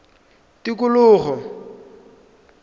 tikologo